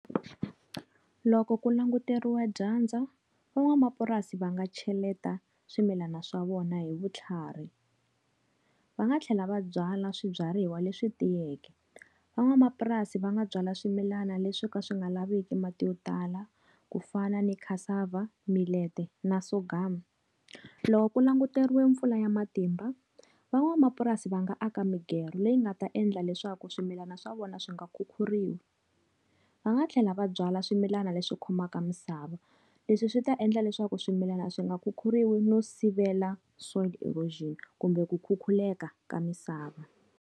Loko ku languteriwa dyandza van'wamapurasi va nga cheleta swimilana swa vona hi vutlhari. Va nga tlhela va byala swibyariwa leswi tiyeke. Van'wamapurasi va nga byala swimilana leswi ka swi nga laviki mati yo tala, ku fana ni cassava, millet-e na sorghum. Loko ku languteriwe mpfula ya matimba, van'wamapurasi va nga aka migero leyi nga ta endla leswaku swimilana swa vona swi nga khukhuriwi. Va nga tlhela va byala swimilana leswi khomaka misava. Leswi swi ta endla leswaku swimilana swi nga khukhuriwi no sivela soil erosion kumbe ku khuluka ka misava.